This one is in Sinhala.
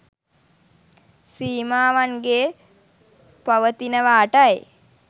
සීමාවන්ගේ පවතිනවාටයි.